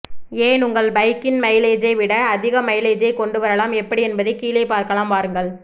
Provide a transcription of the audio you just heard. ஏன் உங்கள் பைக்கின் மைலேஜை விட அதிக மைலேஜை கொண்டு வரலாம் எப்படி என்பதை கீழே பார்க்கலாம் வாருங்கள்